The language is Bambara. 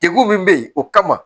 Degun min bɛ yen o kama